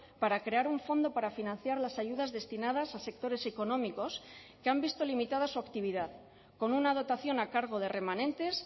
para crear un fondo para financiar las ayudas destinadas a sectores económicos que han visto limitada su actividad con una dotación a cargo de remanentes